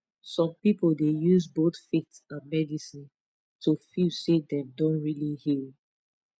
some people dey use both faith and medicine to feel say dem don really heal